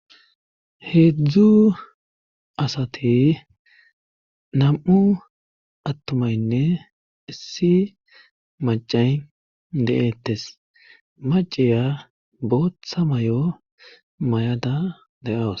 heedzdzu asati nam7u attumaynne issi macay de7eettes maciya booththa may7o may7ada de7awus